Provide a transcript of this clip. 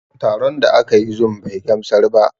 Taron da aka yi zum bai gamsar ba